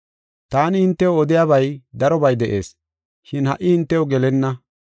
“Taani hintew odiyabay darobay de7ees, shin ha77i hintew gelenna.